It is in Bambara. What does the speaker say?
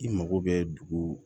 I mago bɛ dugu